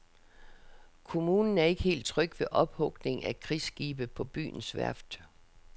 Kommunen er ikke helt tryg ved ophugning af krigsskibe på byens værft.